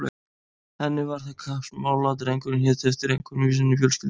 Henni var það kappsmál að drengurinn héti eftir einhverjum í sinni fjölskyldu.